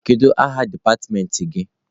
Kedu aha dipatịmentị gị?